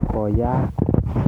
Koyaak.